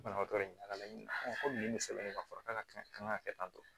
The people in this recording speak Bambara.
Banabaatɔ in ka laɲini ko nin bɛ sɛbɛn ne kan fɔ k'a kɛ kan ka kɛ tan tɔ